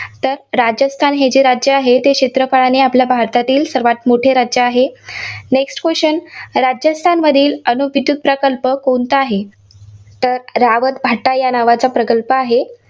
तर राजस्थान हे जे राज्य आहे, ते क्षेत्रफळाने आपल्या भारतातील सर्वांत मोठे राज्य आहे. next question राजस्थानमधील अणुविद्युत प्रकल्प कोणता आहे? तर रावतभाटा या नावाचा प्रकल्प आहे